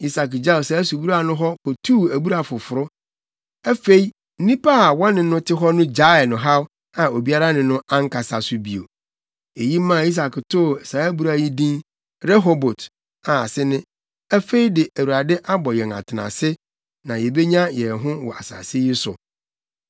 Isak gyaw saa abura no hɔ kotuu abura foforo. Afei, nnipa a wɔne no te hɔ no gyaee no haw a obiara ne no ankasa so bio. Eyi maa Isak too saa abura yi din Rehobot a ase ne “Afei de Awurade abɔ yɛn atenase na yebenya yɛn ho wɔ asase yi so.”